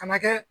Kana kɛ